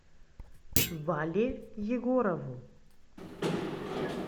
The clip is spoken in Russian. вале егорову